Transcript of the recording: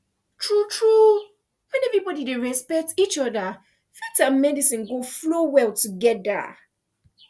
true true when everybody dey respect each other faith and medicine go flow well together